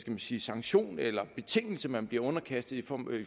man sige sanktion eller betingelse man bliver underkastet for